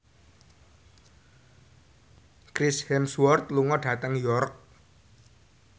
Chris Hemsworth lunga dhateng York